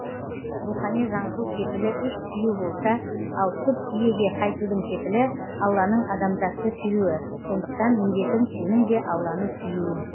рухани жаңғыру кепілі үш сүю болса ал түп иеге қайтудың кепілі алланың адамзатты сүюі сондықтан міндетің сенің де алланы сүюің